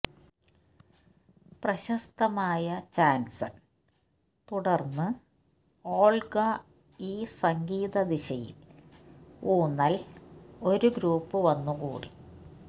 പ്രശസ്തമായ ചാൻസൺ തുടർന്ന് ഓൾഗ ഈ സംഗീത ദിശയിൽ ഊന്നൽ ഒരു ഗ്രൂപ്പ് വന്നുകൂടി